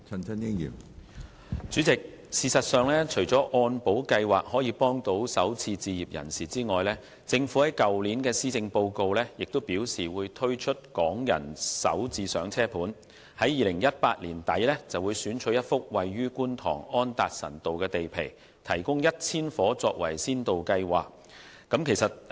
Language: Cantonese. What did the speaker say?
主席，除了按保計劃可以幫助首次置業人士外，政府在去年的施政報告亦表示會推出"港人首置上車盤"，在2018年年底選取一幅位於觀塘安達臣道的地皮，提供1000個單位，以推行先導計劃。